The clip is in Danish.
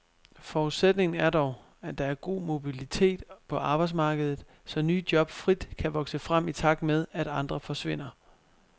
Forudsætningen er dog, at der er god mobilitet på arbejdsmarkedet så nye job frit kan vokse frem i takt med, at andre forsvinder.